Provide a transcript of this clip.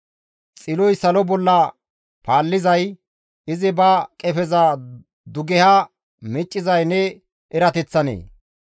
«Xiloy salo bolla paallizay, izi ba qefeza dugeha miccizay ne erateththanee?